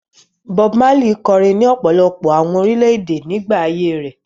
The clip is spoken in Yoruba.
Bob Marley kọrin ní ọ̀pọ̀lọpọ̀ àwọn orílẹ̀-èdè nígbà ayé rẹ̀.